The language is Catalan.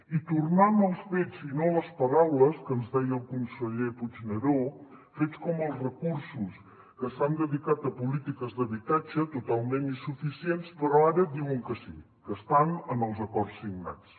i tornant als fets i no les paraules que ens deia el conseller puigneró fets com els recursos que s’han dedicat a polítiques d’habitatge totalment insuficients però ara diuen que sí que estan en els acords signats